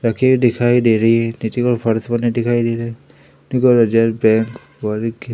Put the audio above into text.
रखे दिखाई दे रही है। नीचे ओर फर्श बने दिखाई दे रहे हैं। के--